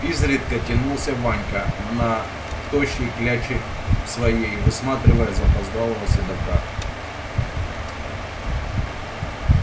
изредка тянулся ванька на тощей кляче своей высматривая запоздалого седока